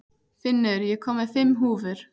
Finnur, ég kom með fimm húfur!